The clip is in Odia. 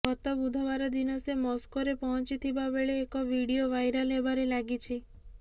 ଗତ ବୁଧବାର ଦିନ ସେ ମସ୍କୋରେ ପହଞ୍ଚିଥିବା ବେଳେ ଏକ ଭିଡିଓ ଭାଇରାଲ୍ ହେବାରେ ଲାଗିଛି